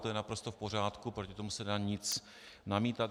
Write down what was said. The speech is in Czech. To je naprosto v pořádku, proti tomu se nedá nic namítat.